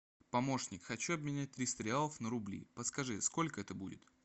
помощник хочу обменять триста реалов на рубли подскажи сколько это будет